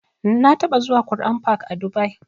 Na taɓa zuwa Qur'an fak a dubai